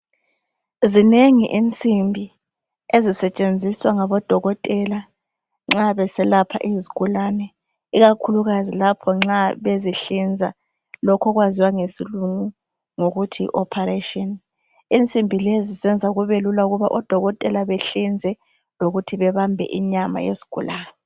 Zinengi insimbi ezisetshenziswa ngabodokotela nxa beselapha izigulane ikakhulukazi lapho nxa bezihlinza lokhu okwaziwa ngesilungu ngokuthi yi"operation" insimbi lezi zenza kubelula ukuba odokotela behlinze lokuthi bebambe inyama yesigulane.